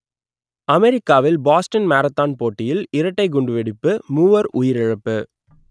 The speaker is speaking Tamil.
அமெரிக்காவில் பாஸ்டன் மாரத்தான் போட்டியில் இரட்டைக் குண்டுவெடிப்பு மூவர் உயிரிழப்பு